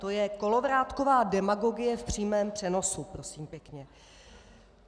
To je kolovrátková demagogie v přímém přenosu prosím pěkně.